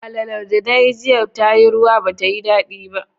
Alalar da nayi jiya tayi ruwa ba tayi daɗi ba